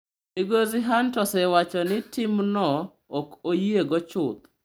Migosi Hunt osewacho ni timno “ok oyiego chuth.”